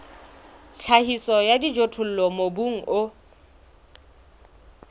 tlhahiso ya dijothollo mobung o